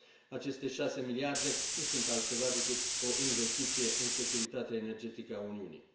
Aceste șase miliarde nu sunt altceva decât o investiție în securitatea energetică a Uniunii.